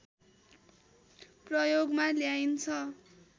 प्रयोगमा ल्याइन्छ